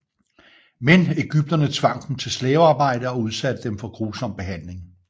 Men egypterne tvang dem til slavearbejde og udsatte dem for grusom behandling